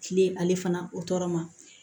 Kile ale fana o tɔɔrɔ ma